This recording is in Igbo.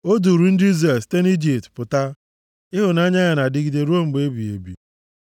O duuru ndị Izrel site nʼIjipt pụta, Ịhụnanya ya na-adịgide ruo mgbe ebighị ebi.